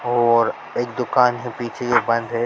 और एक दुकान है पीछे जो बंद है।